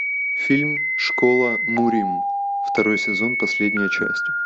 фильм школа мурим второй сезон последняя часть